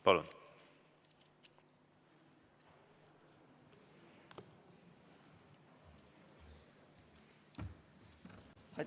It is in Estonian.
Palun!